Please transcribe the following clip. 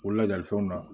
O lajali fɛnw na